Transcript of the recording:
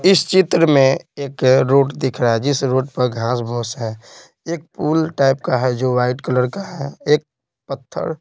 इस चित्र में एक रोड दिख रहा है जिस रोड पर घास-भूस है एक पूल टाइप का है जो वाइट कलर का है एक पत्थर --